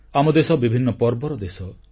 ଆମ ଦେଶ ବିଭିନ୍ନ ପର୍ବର ଦେଶ